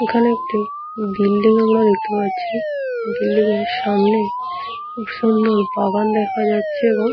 এখানে একটি বিল্ডিং আমরা দেখতে পাচ্ছি বিল্ডিং - এর সামনে খুব সুন্দর বাগান দেখা যাচ্ছে এবং --